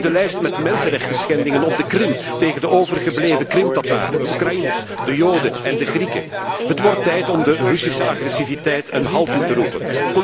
Bekijk de lijst met mensenrechtenschendingen op de Krim tegen de overgebleven Krim Tataren, de Oekraïners, de Joden en de Grieken. Het wordt tijd om de Russische agressiviteit een halt toe te roepen.